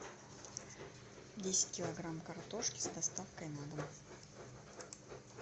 десять килограмм картошки с доставкой на дом